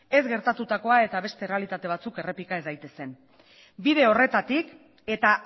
ez gertatutakoa eta beste errealitate batzuk errepika ez daitezen bide horretatik eta